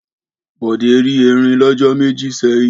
Bọ̀dé rí erin lọ́jọ́ méjì sẹ́yìn.